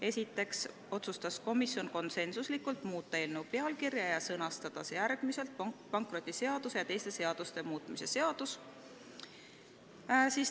Esiteks, komisjon konsensuslikult otsustas muuta eelnõu pealkirja ja sõnastada see järgmiselt: "Pankrotiseaduse ja teiste seaduste muutmise seadus".